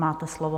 Máte slovo.